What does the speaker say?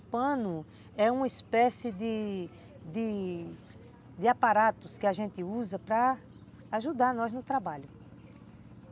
O pano é uma espécie de de aparatos que a gente usa para ajudar nós no trabalho.